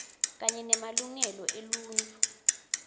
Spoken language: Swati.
kanye nemalungelo eluntfu